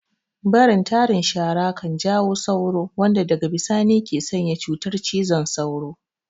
Barin tarin shara kan jawo sauro wanda daga bisani ke sanya cutar cizon sauro